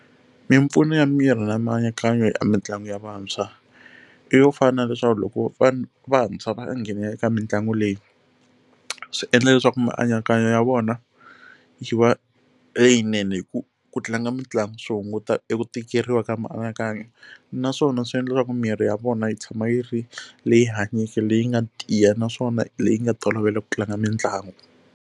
Mimpfuno ya miri na mianakanyo ya mitlangu ya vantshwa i yo fana na leswaku loko va vantshwa va nghenelela eka mitlangu leyi swi endla leswaku mianakanyo ya vona yi va leyinene hi ku ku tlanga mitlangu swi hunguta eku tikeriwa ka mianakanyo naswona swi endla leswaku mirhi ya vona yi tshama yi ri leyi hanyeke leyi nga tiya naswona leyi nga tolovela ku tlanga mitlangu.